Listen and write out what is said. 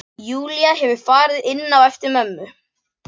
Júlía hefur farið inn á eftir mömmu.